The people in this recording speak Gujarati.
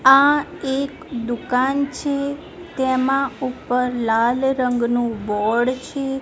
આ એક દુકાન છે તેમાં ઉપર લાલ રંગનું બોર્ડ છે.